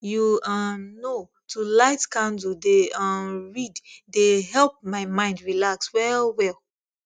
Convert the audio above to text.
you um know to light candle dey um read dey help my mind relax well well